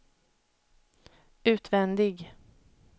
utvändig